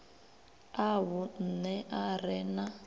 a vhunṋe a re na